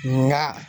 Nga